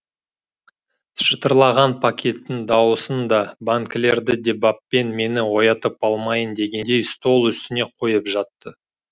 шытырлаған пакеттің дауысын да банкілерді де баппен мені оятып алмайын дегендей стол үстіне қойып жатты